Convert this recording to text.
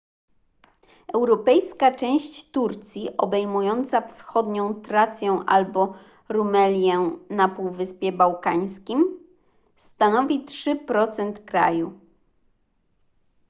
europejska część turcji obejmująca wschodnią trację albo rumelię na półwyspie bałkańskim stanowi 3% kraju